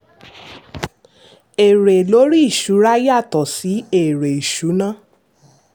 èrè lórí ìṣúra yàtọ̀ sí èrè ìṣúná.